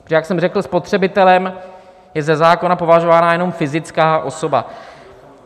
Protože jak jsem řekl, spotřebitelem je ze zákona považována jenom fyzická osoba.